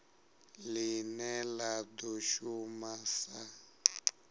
line la do shuma sa